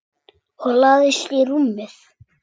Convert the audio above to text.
Og lagðist í rúmið.